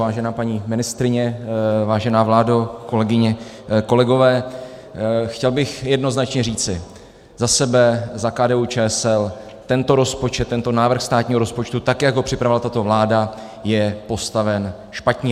Vážená paní ministryně, vážená vládo, kolegyně, kolegové, chtěl bych jednoznačně říci za sebe, za KDU-ČSL, tento rozpočet, tento návrh státního rozpočtu, tak jak ho připravila tato vláda, je postaven špatně.